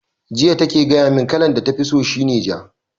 Jiya take gaya mun kalar da tafi so shi ne ja